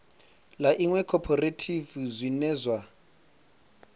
ḽa iṅwe khophorethivi zwine zwa